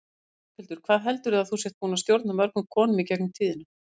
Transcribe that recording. Berghildur: Hvað heldurðu að þú sért búin að stjórna mörgum konum í gegnum tíðina?